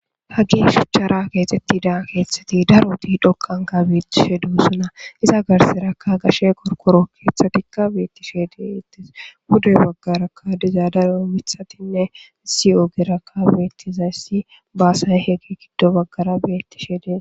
Hacishachara kexitida daro dhoqara kethatiIza garsan gashe qorqoro kethatika betishe detes pude bagaraka deza daro mithatine issi ogeraka gido bagara betizaysi basay betishe detes